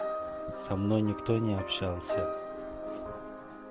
со мной никто не общался